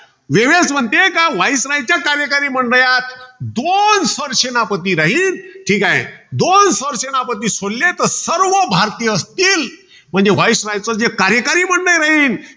Wavell's म्हणते कि viceroy च्या कार्यकरी मंडळात दोन सर सेनापती राहील. ठीकाय. दोन सरसेनापती सोडले, तर सर्व भारतीय असतील. म्हणजे viceroy चं जे कार्यकारी मंडळ राहील.